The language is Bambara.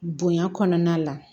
Bonya kɔnɔna la